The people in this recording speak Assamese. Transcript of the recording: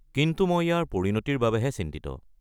কিন্তু মই ইয়াৰ পৰিণতিৰ বাবেহে চিন্তিত।